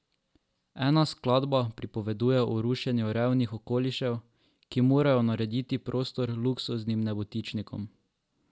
Ena skladba pripoveduje o rušenju revnih okolišev, ki morajo narediti prostor luksuznim nebotičnikom.